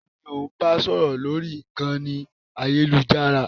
Taàní ò ń bá sọ̀rọ̀ lórí ìkànnì ayélujára?